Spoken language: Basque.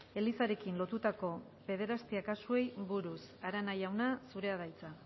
elizarekin lotutako pederastia kasuei buruz arana andrea zurea da hitza